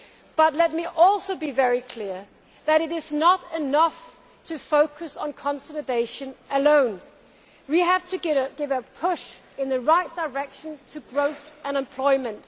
But let me also be very clear that it is not enough to focus on consolidation alone. We have to give a push in the right direction to growth and employment.